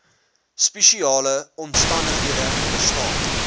spesiale omstandighede bestaan